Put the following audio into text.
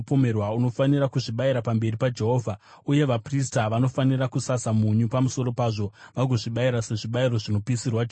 Unofanira kuzvibayira pamberi paJehovha, uye vaprista vanofanira kusasa munyu pamusoro pazvo vagozvibayira sezvibayiro zvinopisirwa Jehovha.